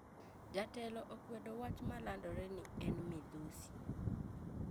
Jatelo okwedo wach malandore ni en midhusi